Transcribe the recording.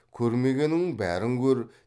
көрмегеніңнің бәрін көр